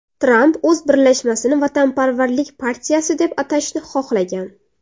Tramp o‘z birlashmasini Vatanparvarlik partiyasi deb atashni xohlagan.